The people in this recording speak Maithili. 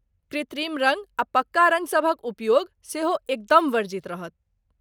कृत्रिम रँग आ पक्का रँग सभक उपयोग सेहो एकदम वर्जित रहत।